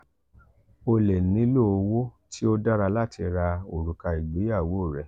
o le nilo owo ti o dara lati ra oruka igbeyawo rẹ.